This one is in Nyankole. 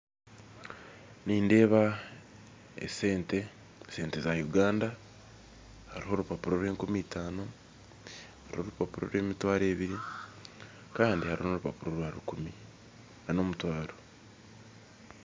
Nindeeba esente esente za Uganda, hariho orupapura orwenkumitano, oru orupapura orwemitwaro ebiri Kandi hariho n'orupapura orwa rukumi ,nana omutwaro